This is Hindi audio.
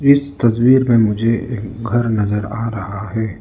इस तस्वीर में मुझे एक घर नजर आ रहा है।